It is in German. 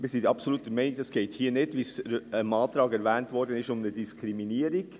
Wir sind der Meinung, es gehe hier nicht, wie im Antrag erwähnt, um eine Diskriminierung.